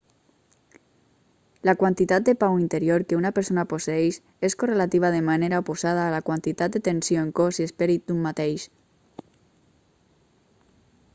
la quantitat de pau interior que una persona posseeix és correlativa de manera oposada a la quantitat de tensió en cos i esperit d'un mateix